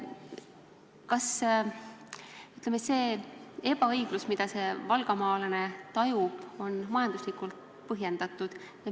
Kas see ebaõiglus, mida see valgamaalane tajub, on majanduslikult põhjendatud?